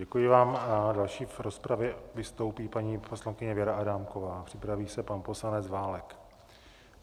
Děkuji vám a další v rozpravě vystoupí paní poslankyně Věra Adámková, připraví se pan poslanec Válek.